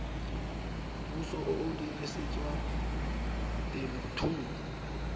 puso o o dirisetswang temothuo